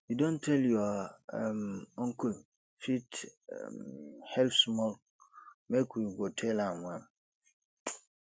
you don tell your um uncle e fit um help small make we go tell am am